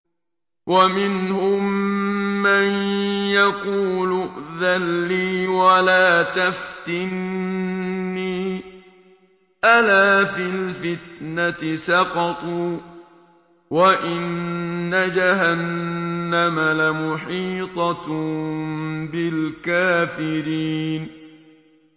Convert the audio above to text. وَمِنْهُم مَّن يَقُولُ ائْذَن لِّي وَلَا تَفْتِنِّي ۚ أَلَا فِي الْفِتْنَةِ سَقَطُوا ۗ وَإِنَّ جَهَنَّمَ لَمُحِيطَةٌ بِالْكَافِرِينَ